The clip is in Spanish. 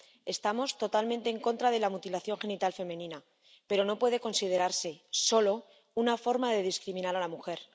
Estamos totalmente en contra de la mutilación genital femenina, pero no puede considerarse solo una forma de discriminar a la mujer.